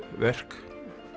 verk